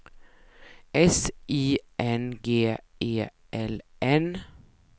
S I N G E L N